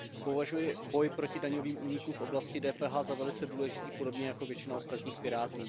Považuji boj proti daňovým únikům v oblasti DPH za velice důležitý podobně jako většina ostatních Pirátů.